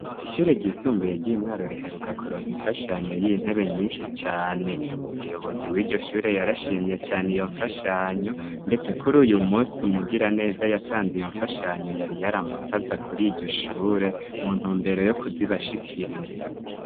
Ishure ryisumbuye ry'imwaro riheruka kuronka imfashanyo y'intebe nyinshi cane umuyobozi w'iryo shure yarashimye cane iyo mfashanyo, ndetse kuri uyu musi umugira neza yatanze iyo mfashanyo yari yaramutsaza kuri iryo shure mu ntu mbero yo kuzibashikiriza.